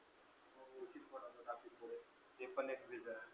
ते पण एक reason आहे.